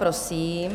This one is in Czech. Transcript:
Prosím.